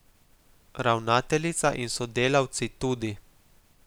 Ravnateljica in sodelavci tudi.